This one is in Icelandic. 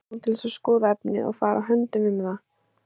Margir komu til þess að skoða efnið og fara höndum um það.